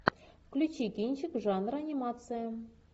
включи кинчик жанра анимация